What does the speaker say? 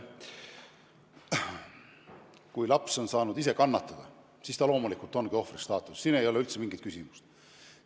Kui laps on saanud ise kannatada, siis ta loomulikult ongi ohvri staatuses, siin ei ole üldse mingit küsimust.